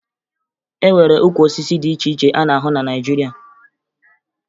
E nwere ukwu osisi dị iche iche a na-ahụ na Naịjirịa